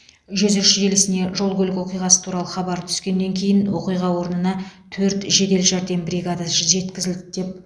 жүз үш желісіне жол көлік оқиғасы туралы хабар түскеннен кейін оқиға орнына төрт жедел жәрдем бригадасы жеткізілді деп